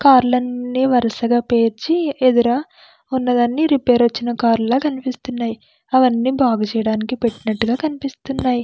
Car లన్ని వరసగా పేర్చి ఎదర ఉన్నదన్ని రిపేర్ వచ్చిన కార్ లా కనిపిస్తున్నాయి. అవన్నీ బాగుచేయడానికి పెట్టినట్టుగా కనిపిస్తున్నాయి.